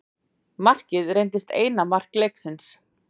Markið reyndist eina mark leiksins.